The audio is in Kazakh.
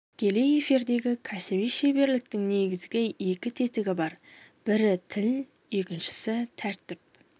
тікелей эфирдегі кәсіби шеберліктің негізгі екі тетігі бар бірі тіл екіншісі тәртіп